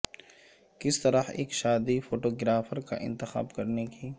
کس طرح ایک شادی فوٹوگرافر کا انتخاب کرنے کی